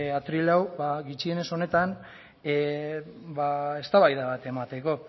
atril hau gutxienez honetan eztabaida bat emateko